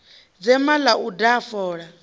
dzema ḽa u daha fola